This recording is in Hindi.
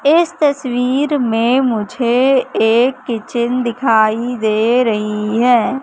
इस तस्वीर में मुझे एक किचन दिखाई दे रही है।